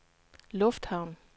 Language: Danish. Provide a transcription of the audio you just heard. lufthavn